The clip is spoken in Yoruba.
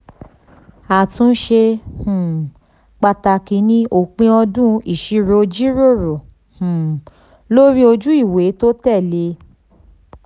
àtúnṣe um pàtàkì ni òpin ọdún ìṣirò jíròrò um lórí ojúewé tó tẹ̀ lé. um